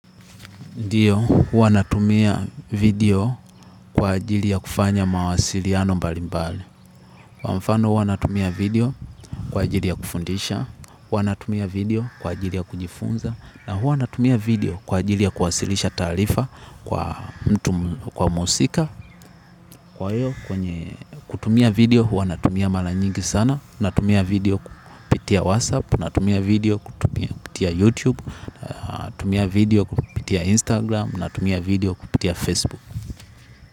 Ndiyo, huwa natumia video kwa ajili ya kufanya mawasiliano mbalimbali. Kwa mfano huwa natumia video kwa ajili ya kufundisha, huwa natumia video kwa ajili ya kujifunza, na huwa natumia video kwa ajili ya kuwasilisha taarifa kwa mtu, kwa mhusika, kwa hiyo kwenye kutumia video huwa natumia mara nyingi sana, natumia video kupitia WhatsApp, natumia video kupitia YouTube, na tumia video kupitia Instagram, na tumia video kupitia Facebook.